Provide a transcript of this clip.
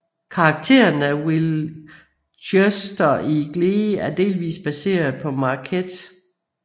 Karakteren Will Schuester i Glee er delvis baseret på Marquette